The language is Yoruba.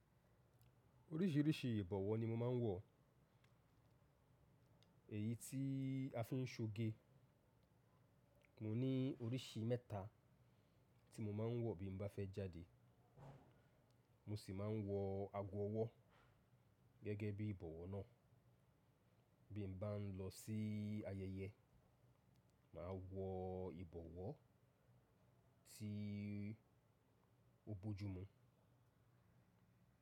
Oríṣìíríṣìí ìbọ̀wọ́ ni mo máa ń wọ. Èyí tí a fi ń soge, mo ní oríṣi mẹ́ta tí mo máa ń wọ bí mo bá fẹ́ jáde. Mo sì máa ń wọ agọ ọwọ́ gẹ́gẹ́ bí ìbọ̀wọ́ náà. Bí mo bá ń lọ sí ayẹyẹ, mà á wọ ìbọ̀wọ́ tí ó bójú mu.